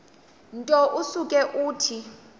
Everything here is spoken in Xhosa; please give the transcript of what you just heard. nto usuke uthi